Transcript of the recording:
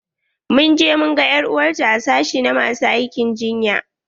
Mun je mu gan er'uwarta a sashi na masu aikin jinya.